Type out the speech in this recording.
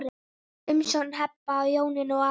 Umsjón Heba, Jónína og Ari.